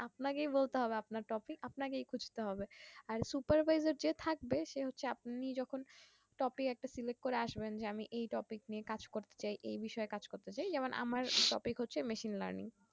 আপনাকেই বলতে হবে আপনার topic আপনাকেই খুঁজতে হবে আর supervisor যে থাকবে সে হচ্ছে আপনি যখন টপিক একটা select করে আসবেন যে আমি এই topic নিয়ে কাজ করতে চাই এই বিষয়ে কাজ করতে চাই যেমন আমার topic হচ্ছে machine learning